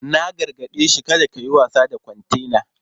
Na gargade shi 'Kada kayi wasa da kwantena!'